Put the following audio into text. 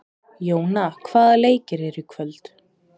Jóna, hvaða leikir eru í kvöld?